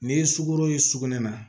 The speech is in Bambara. N'i ye sugoro ye sugunɛ na